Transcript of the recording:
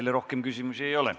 Teile rohkem küsimusi ei ole.